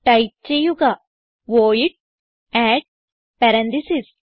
type ചെയ്യുക void add parenthesis